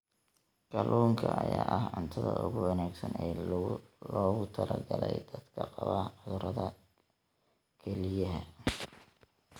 Kalluunka ayaa ah cuntada ugu wanaagsan ee loogu talagalay dadka qaba cudurrada kelyaha.